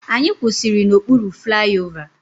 Anyị kwụsịrị n'okpuru flaiova.